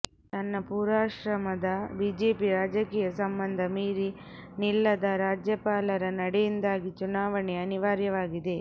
ತನ್ನ ಪೂರ್ವಾಶ್ರಮದ ಬಿಜೆಪಿ ರಾಜಕೀಯ ಸಂಬಂಧ ಮೀರಿ ನಿಲ್ಲದ ರಾಜ್ಯಪಾಲರ ನಡೆಯಿಂದಾಗಿ ಚುನಾವಣೆ ಅನಿವಾರ್ಯವಾಗಿದೆ